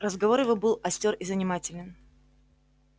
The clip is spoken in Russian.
разговор его был остёр и занимателен